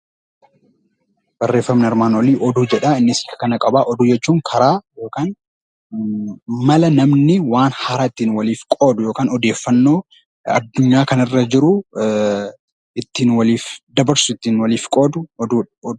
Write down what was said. Barreeffamni armaan olii oduu jedhaa. Innis karaa qabaa, oduu jechuun karaa yookiin mala namni waan haaraa ittiin walii qoodu yookaan odeeffannoo adunyaa kana irra jiru, ittiin waliif dabarsu, ittiin waliif qoodu oduu jedhama.